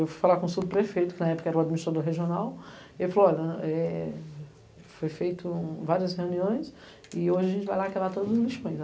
Eu fui falar com o subprefeito, que na época era o administrador regional, e ele falou, olha, foram feitas várias reuniões e hoje a gente vai lacrar todos os lixões.